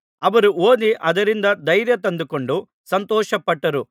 ಅವರು ಓದಿ ಅದರಿಂದ ಧೈರ್ಯ ತಂದುಕೊಂಡು ಸಂತೋಷಪಟ್ಟರು